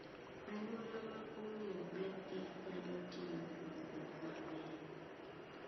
Anyuola ma ong'eyo ber kich nyalo timo dongruok mang'eny.